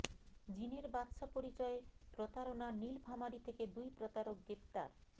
জ্বিনের বাদশা পরিচয়ে প্রতারণা নীলফামারী থেকে দুই প্রতারক গ্রেফতার